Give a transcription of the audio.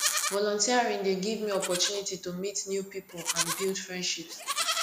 volunteering dey give me opportunity to meet new pipo and build friendships